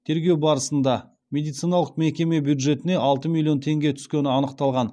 тергеу барысында медициналық мекеме бюджетіне алты миллион теңге түскені анықталған